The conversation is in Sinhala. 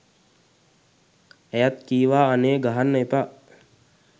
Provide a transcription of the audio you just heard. ඇයත් කීවා අනේ ගහන්න එපා